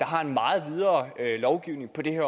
har en meget videre lovgivning